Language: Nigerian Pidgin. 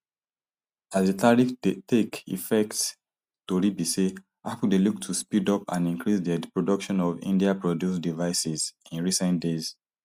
as di tariffs take effect tori be say apple dey look to speed up and increase dia production of indiaproduced devices in recent days